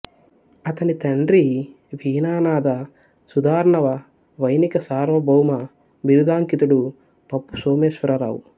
అతని తండ్రి వీణానాద సుధార్ణవ వైణిక సార్వ భౌమ బిరుదాంకితుడు పప్పు సోమేశ్వరరావు